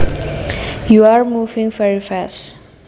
you are moving very fast